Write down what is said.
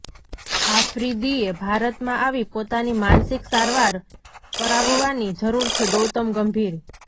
આફરિદીએ ભારતમાં આવી પોતાની માનસિક સારવાર કરાવવાની જરૂર છેઃ ગૌતમ ગંભીર